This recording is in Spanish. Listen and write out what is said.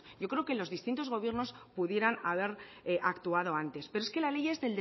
yo creo que en los gobiernos pudieran haber actuado antes pero es que la ley es